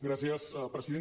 gràcies president